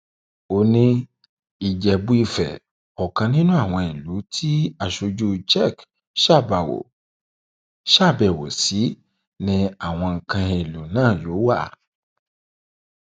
ó ní ìjẹbúìfẹ ọkàn nínú àwọn ìlú tí aṣojú czech ṣàbẹwò sí ni àwọn nǹkan èèlò náà yóò wà